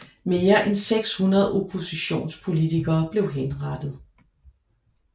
Mere end 600 oppositionspolitikere blev henrettet